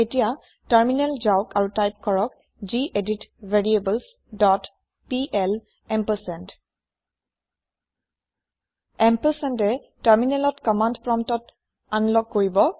এতিয়া টাৰমিনেল যাওক আৰু টাইপ কৰক গেদিত ভেৰিয়েবলছ ডট পিএল এম্পাৰচেণ্ড ampersandয়ে টাৰমিনেলত কমান্দ প্ৰম্পত আনলক কৰিব